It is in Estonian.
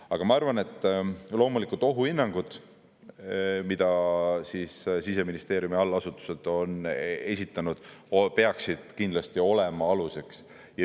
Aga ma arvan, et loomulikult ohuhinnangud, mida Siseministeeriumi allasutused on esitanud, peaksid kindlasti olema aluseks.